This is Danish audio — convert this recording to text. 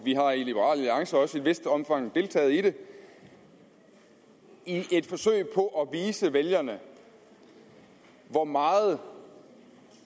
har i liberal alliance også i et vist omfang deltaget i det i et forsøg på at vise vælgerne hvor meget